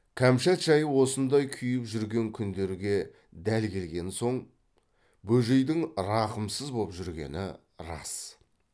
кәмшат жайы осындай күйіп жүрген күндерге дәл келген соң бөжейдің рақымсыз боп жүргені рас